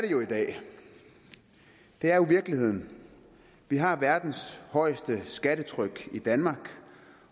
jo i dag det er jo virkeligheden vi har verdens højeste skattetryk i danmark